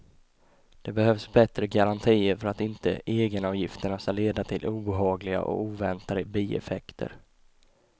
Det behövs bättre garantier för att inte egenavgifterna ska leda till obehagliga och oväntade bieffekter.